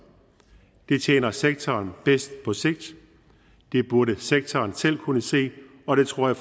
det tjener sektoren bedst på sigt det burde sektoren selv kunne se og det tror jeg